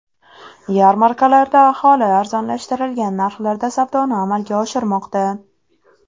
Yarmarkalarda aholi arzonlashtirilgan narxlarda savdoni amalga oshirmoqda.